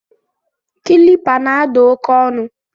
Kịlịpa na-ada oke ọnụ